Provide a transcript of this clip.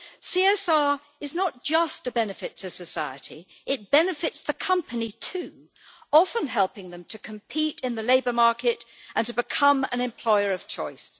CSR is not just a benefit to society, it benefits the company too, often helping them to compete in the labour market and to become an employer of choice.